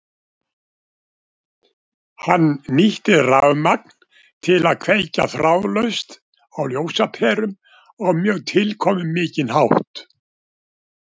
Hann nýtti rafmagn til að kveikja þráðlaust á ljósaperum á mjög tilkomumikinn hátt.